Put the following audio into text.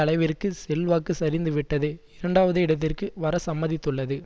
அளவிற்கு செல்வாக்கு சரிந்துவிட்டது இரண்டாவது இடத்திற்கு வர சம்மதித்துள்ளது